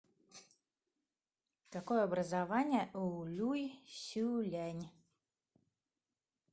какое образование у люй сюлянь